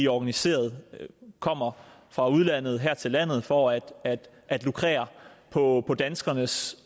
organiserede og kommer fra udlandet her til landet for at at lukrere på danskernes